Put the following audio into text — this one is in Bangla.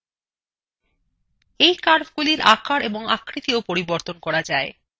you curvesগুলির আকার এবং আকৃতিof পরিবর্তন করা যায়